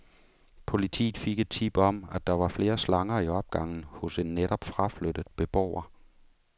Politiet fik et tip om, at der var flere slanger i opgangen hos en netop fraflyttet beboer.